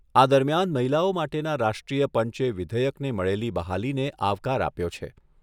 આ દરમિયાન મહિલાઓ માટેના રાષ્ટ્રીય પંચે વિધેયકને મળેલી બહાલીને આવકાર આપ્યો છે.